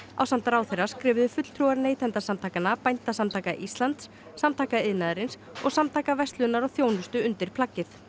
ásamt ráðherra skrifuðu fulltrúar Neytendasamtakanna Bændasamtaka Íslands Samtaka iðnaðarins og Samtaka verslunar og þjónustu undir plaggið